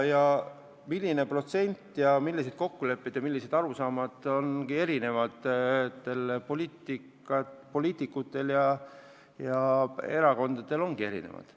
Arusaamad, millised on õiged määrad, on eri poliitikutel ja erakondadel erinevad.